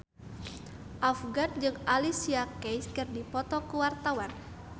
Afgan jeung Alicia Keys keur dipoto ku wartawan